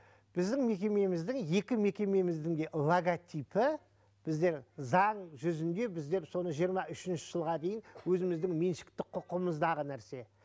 біздің мекемеміздің екі мекемеміздің де логотипі біздер заң жүзінде біздер соны жиырма үшінші жылға дейін өзіміздің меншікті құқығымыздағы нәрсе